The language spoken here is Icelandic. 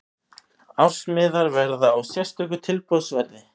Ársmiðar verða á sérstöku tilboðsverði.